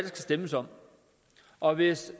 stemmes om og hvis